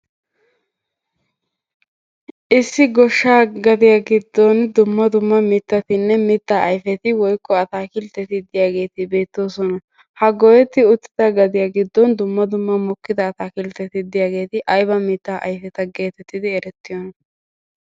Issi goshshaa gadiya giddon dumma dumma mitattinne mittaa ayfeti woykko ataakkiltteti beettoosona. Ha goyeti uttida gadiya giddon dumma dumma mokkida ataakkilteti diyageeti ayba mittaa ayfeta gettettidi erettiyona?